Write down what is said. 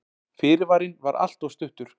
Fyrirvarinn var alltof stuttur.